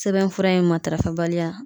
Sɛbɛn fura in matarafa bali ya